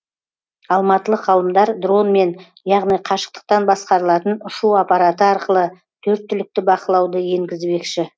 алматылық ғалымдар дронмен яғни қашықтықтан басқарылатын ұшу апараты арқылы төрт түлікті бақылауды енгізбекші